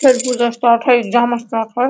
Exam start है ।